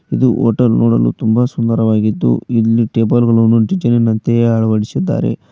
ಇದು ಹೋಟೆಲ್ ನೋಡಲು ತುಂಬ ಸುಂದರವಾಗಿದ್ದು ಇಲ್ಲಿ ಟೇಬಲ್ ಗಳನ್ನು ಡಿಸೈನಿ ನಂತೆ ಅಳವಡಿಸಿದ್ದಾರೆ.